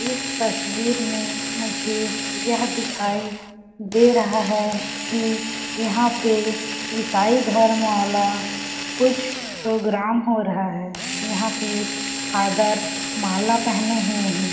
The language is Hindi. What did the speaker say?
इस तस्वीर में मुझे यह दिखाई दे रहा हैं कि यहाँ पे इसाई धर्म वाला कुछ प्रोग्राम हो रहा हैं यहाँ पे आदर माला पहने हुए हैं।